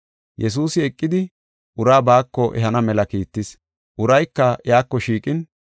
Yesuusi eqidi uraa baako ehana mela kiittis. Urayka, iyako shiiqin,